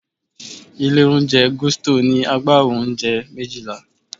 Ilé-oúnjẹ Gusto ní agbawo oúnjẹ méjìlá.